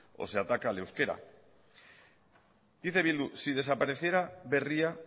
o se ataca al euskera dice bildu si desapareciera berria